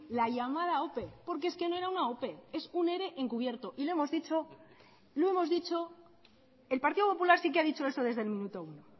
la llamada ope porque es que no era una ope es un ere encubierto el partido popular sí que ha dicho eso desde el minuto uno